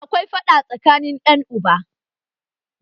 Akwai faɗa tsakanin ƴan uba